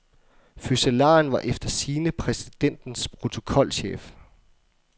Fødselaren var efter sigende præsidentens protokolchef.